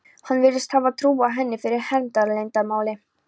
Hann virðist hafa trúað henni fyrir hernaðarleyndarmáli.